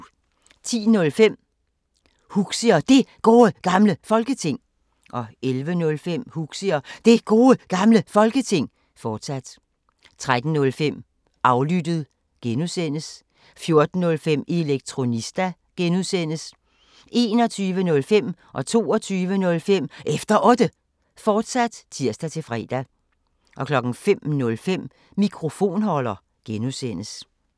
10:05: Huxi og Det Gode Gamle Folketing 11:05: Huxi og Det Gode Gamle Folketing, fortsat 13:05: Aflyttet G) 14:05: Elektronista (G) 21:05: Efter Otte, fortsat (tir-fre) 22:05: Efter Otte, fortsat (tir-fre) 05:05: Mikrofonholder (G)